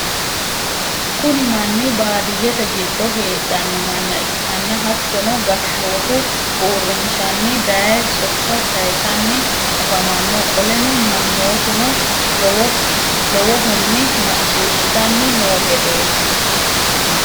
kuni manni baadiiyete giddo heedhanno manna ikkanna hattonni gashootu uurrinshanni daye sokka sayisanni afamanno. qoleno mannootuno lowohonni maccishitanni noo gedeti.